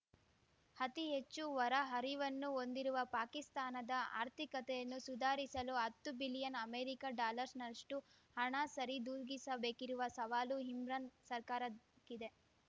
ಅತಿಹೆಚ್ಚು ಹೊರ ಹರಿವನ್ನು ಹೊಂದಿರುವ ಪಾಕಿಸ್ತಾನದ ಆರ್ಥಿಕತೆಯನ್ನು ಸುಧಾರಿಸಲು ಹತ್ತು ಬಿಲಿಯನ್‌ ಅಮೆರಿಕ ಡಾಲರ್‌ನಷ್ಟುಹಣ ಸರಿದೂಗಿಸಬೇಕಿರುವ ಸವಾಲು ಇಮ್ರಾನ್‌ ಸರ್ಕಾರಕ್ಕಿದೆ